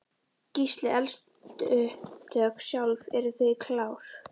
Gísli: Eldsupptök sjálf, eru þau klár?